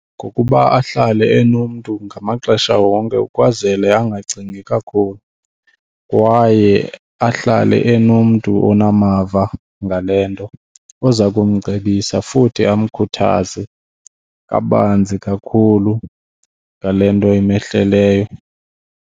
Ngokuba ahlale enomntu ngamaxesha wonke ukwazele angacingi kakhulu kwaye ahlale enomntu onamava ngale nto oza kumcebisa futhi amkhuthaze kabanzi kakhulu ngale nto emehleleyo.